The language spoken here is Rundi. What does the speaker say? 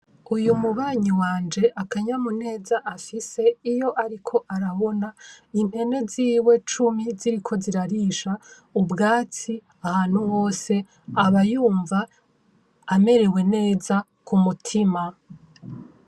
uyu mubanyi wanje akanyamuneza afise iyo ariko arabona impene ziwe cumi ziriko zirarisha ubwatsi ahantu hose abayumva amerewe neza ku mutima.